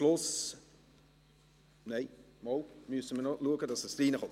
Schliesslich müssen wir entscheiden, was in das Gesetz hineinkommt.